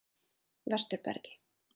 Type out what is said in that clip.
Vesturbergi